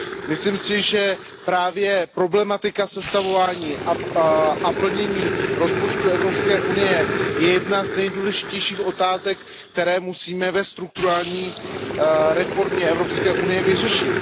Myslím si, že právě problematika sestavování a plnění rozpočtu Evropské unie je jednou z nejdůležitějších otázek, které musíme ve strukturální reformě Evropské unie vyřešit.